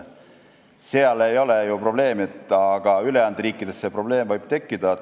Seal ei ole probleemi, aga ülejäänud riikides võib see probleem tekkida.